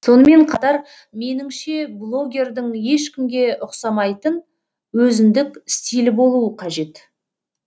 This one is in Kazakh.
сонымен қатар меніңше блогердің ешкімге ұқсамайтын өзіндік стилі болуы қажет